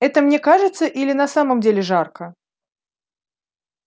это мне кажется или на самом деле жарко